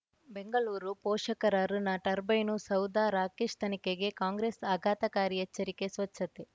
ಬೆಂಗಳೂರು ಪೋಷಕರಋಣ ಟರ್ಬೈನು ಸೌಧ ರಾಕೇಶ್ ತನಿಖೆಗೆ ಕಾಂಗ್ರೆಸ್ ಆಘಾತಕಾರಿ ಎಚ್ಚರಿಕೆ ಸ್ವಚ್ಛತೆ